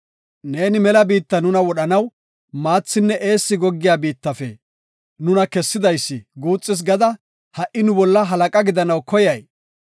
Neeni mela biittan nuna wodhanaw maathinne eessi goggiya biittafe nuna kessidaysi guuxis gada ha77i nu bolla halaqa gidanaw koyay?